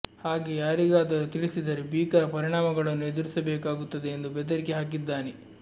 ಹಾಗೇ ಯಾರಿಗಾದರೂ ತಿಳಿಸಿದರೆ ಭೀಕರ ಪರಿಣಾಮಗಳನ್ನು ಎದುರಿಸಬೇಕಾಗುತ್ತದೆ ಎಂದು ಬೆದರಿಕೆ ಹಾಕಿದ್ದಾನೆ